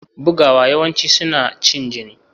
Bugawa yawanci suna cin jini.